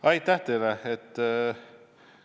Aitäh teile!